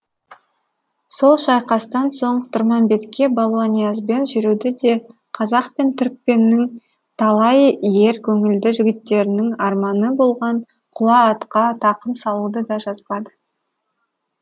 сол шайқастан соң тұрмамбетке балуаниязбен жүруді де қазақ пен түркпеннің талай ер көңілді жігіттерінің арманы болған құла атқа тақым салуды да жазбады